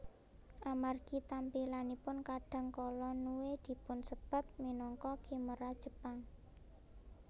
Amargi tampilanipun kadang kala Nue dipunsebat minangka khimera Jepang